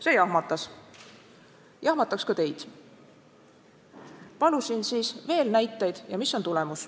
See jahmatas, jahmataks ka teid.